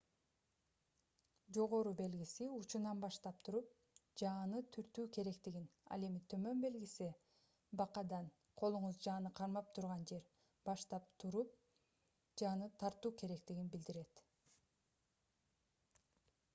"жогору белгиси учунан баштап туруп жааны түртүү керектигин ал эми төмөн белгиси бакадан колуңуз жааны кармап турган жер баштап туруп жааны тартуу керектигин билдирет